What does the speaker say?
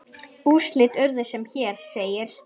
Úrslit urðu sem hér segir